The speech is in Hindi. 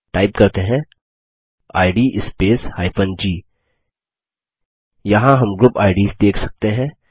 टाइप करते हैं इद स्पेस g यहाँ हम ग्रुप आईडीएस देख सकते हैं